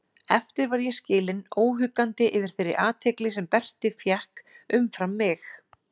Eftir var ég skilinn óhuggandi yfir þeirri athygli sem Berti fékk umfram mig.